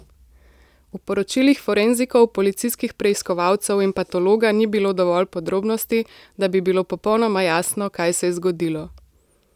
V poročilih forenzikov, policijskih preiskovalcev in patologa ni bilo dovolj podrobnosti, da bi bilo popolnoma jasno, kaj se je zgodilo.